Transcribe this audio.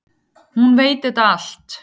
Hún veit þetta allt.